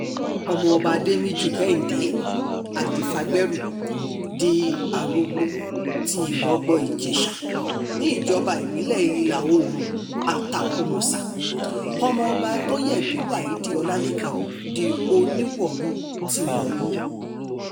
ọmọọba adémíjú kehinde adifagbérù di arógbó tí ìrọ̀gbọ́-ìjèṣà níjọba ìbílẹ̀ ìlà-oòrùn àtàkùmọ̀sà ọmọọba àtọyẹbí waheed ọlálékàn di oníwòru ti wòru